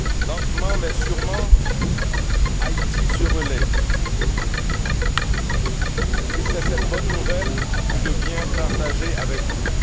Lentement mais sûrement, Haïti se relève, et c'est cette bonne nouvelle que je viens partager avec vous.